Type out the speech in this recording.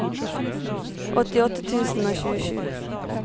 åttiåtte tusen og tjuesju